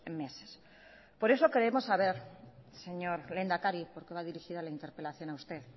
meses por eso queremos saber señor lehendakari porque va dirigida la interpelación a usted